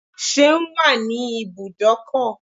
Seun is at the garage